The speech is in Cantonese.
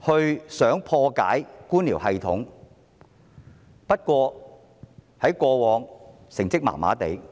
他想破解官僚系統，但過往的成績並不理想。